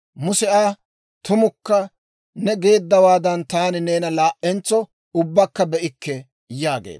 Muse Aa, «Tumakka; neeni geeddawaadan taani neena laa"entso ubbakka be'ikke» yaageedda.